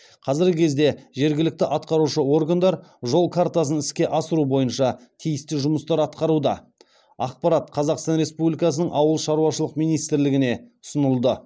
қазіргі кезде жергілікті атқарушы органдар жол картасын іске асыру бойынша тиісті жұмыстар атқаруда ақпарат қазақстан республикасының ауыл шаруашылық минисртлігіне ұсынылды